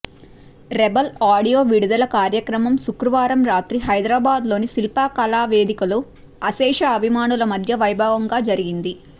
rebel audio విడుదల కార్యక్రమం శుక్రవారం రాత్రి హైదరాబాద్ లోని శిల్పకళా వేడుకలో అశేష అభిమానుల మద్య వైభవంగా జరిగింది